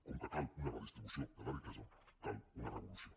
com que cal una redistribució de la riquesa cal una revolució